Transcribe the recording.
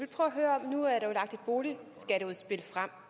hurtig